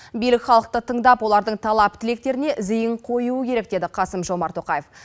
билік халықты тыңдап олардың талап тілектеріне зейін қоюы керек деді қасым жомарт тоқаев